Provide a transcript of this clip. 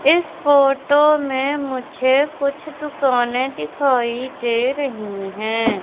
इस फोटो में मुझे कुछ दुकानें दिखाई दे रही हैं।